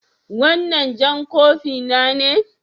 Wannan jan kofi na ne?